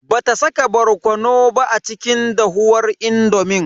Bata saka barkono ba a cikin dahuwar indomin.